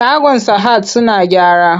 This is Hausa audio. Shagon sahad suna gyara.